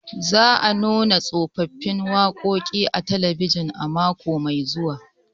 Za a nuna tsofaffin waƙoƙi a talabijin mako mai zuwa